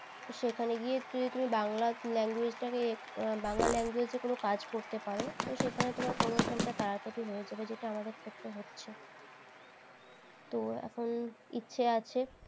সেখানে যদি বাংলা language টাকে এ বাংলা language কোনো যাক করতে পারো সেখানে তোমার promotion টা তাড়াতাড়ি হয়ে যাবে যেটা আমাদের ক্ষেত্রে হচ্ছে তো এখন ইচ্ছে আছে